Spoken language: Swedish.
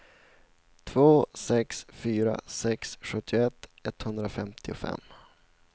två sex fyra sex sjuttioett etthundrafemtiofem